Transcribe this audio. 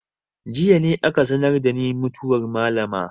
Jiya ne aka sanar da ni mutuwar malama.